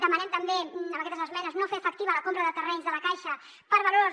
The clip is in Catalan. demanem també amb aquestes esmenes no fer efectiva la compra de terrenys de la caixa per valors